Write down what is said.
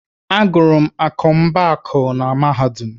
Agụrụ m akọmmụbaaku na Mahadum.